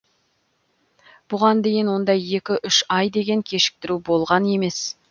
бұған дейін ондай екі үш ай деген кешіктіру болған емес